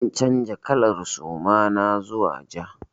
Zan canza kalar suma na zuwa ja.